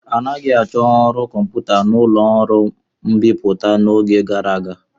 Anaghị achọ ọrụ ndị kọmputa n'ụlọ ọrụ mbipụta n'oge gara aga.